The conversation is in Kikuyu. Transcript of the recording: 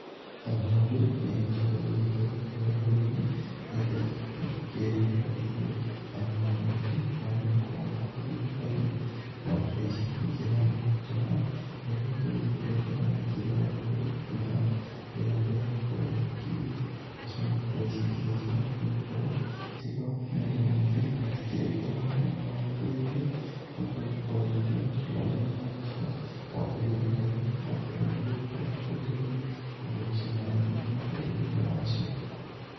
O ng'ondu nĩ ĩgĩkoragwo ĩgĩtrwo kũrĩa rũrũ-ĩnĩ, nĩgetha ĩgĩgĩkorwo ĩkĩharĩra ĩrĩo kana nĩmo mahuti marĩa magĩkoragwo okũu gĩthakaĩnĩ. Ng'ondu ta ĩcĩ nĩikĩrĩaga mahuti ta maya, na ĩgagĩkorwo ĩgĩkĩrĩrĩa ngĩnya nyekĩ ĩrĩa ĩragĩkorwo ĩgĩkĩmera, rĩrĩa mbũra yagĩkorwo ĩgĩkĩũra. Nacĩo ng'ondu ta ĩcĩ ĩkĩrĩ njega nĩgũkorwo, ĩtĩgĩkoragwo na mĩrĩmũ mĩngĩ na ĩtĩkĩrĩe na thogora mũnene wa gũkĩreĩthĩa. Nĩgũkorwo ĩgĩkoragwo ĩkĩrerĩa mahuti marĩa maragĩkũra, okũu gĩthakaĩnĩ gũtakĩrĩ mũndũ ũgĩkorwo agĩkũenderĩa. Koguo cĩĩna raĩthĩ mũno harĩ ũraĩthĩa wacĩo.